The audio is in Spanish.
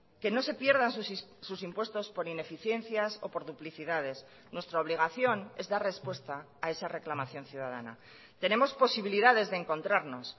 que no se pierdan sus impuestos por ineficiencias o por duplicidades nuestra obligación es dar respuesta a esa reclamación ciudadana tenemos posibilidades de encontrarnos